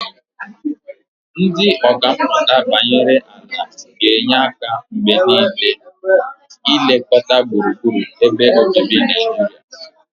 Ndị ọkà mmụta banyere ala ga na-enye aka mgbe niile na ilekọta gburugburu ebe obibi na Naijiria.